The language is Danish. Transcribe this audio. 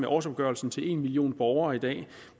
årsopgørelsen til en million borgere i dag